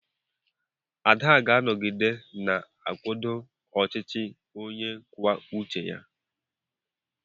Ada ga-anọgide na-akwado ọchịchị onye kwuo uche ya.